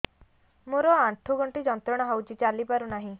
ମୋରୋ ଆଣ୍ଠୁଗଣ୍ଠି ଯନ୍ତ୍ରଣା ହଉଚି ଚାଲିପାରୁନାହିଁ